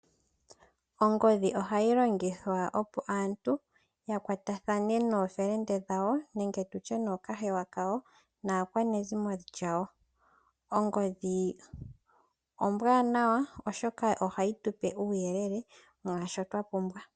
Ongodhi oha yilongithwa opo aantu ya kwatathane noofelende dhawo nenge tu tye nookahewa kawo, naakwanezimo lyawo. Ongodhi ombwanawa oshoka oha yitupe uuyelele mwaashoka twa pumbwa.